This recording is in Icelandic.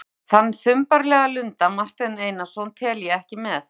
Þann þumbaralega lunda, Martein Einarsson, tel ég ekki með!